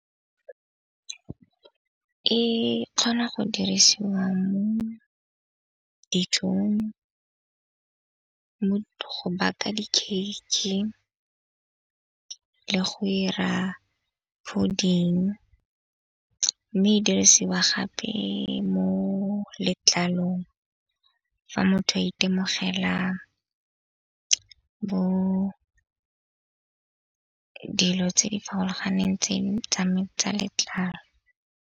E kgona go dirisiwa mo dijong go baka di-cake-e le go 'ira fooding. Mme e dirisiwa gape mo letlalong fa motho a itemogela go dilo tse di farologaneng tseno tsa letlalo.